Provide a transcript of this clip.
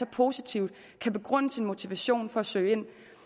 positivt kan begrunde sin motivation for at søge ind